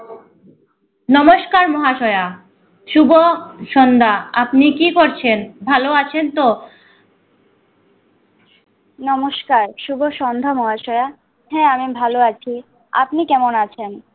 নমস্কার মহাশয়া শুভ সন্ধ্যা আপনি কি করছেন ভালো আছেন তো নমস্কার শুভ সন্ধ্যা মহাশয়া হ্যা আমি ভালো আছি আপনি কেমন আছেন